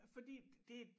Fordi det